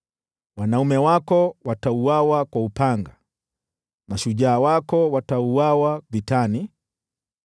Wanaume wako watauawa kwa upanga, nao mashujaa wako watauawa vitani.